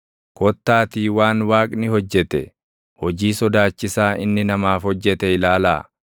Kottaatii waan Waaqni hojjete, hojii sodaachiisaa inni namaaf hojjete ilaalaa!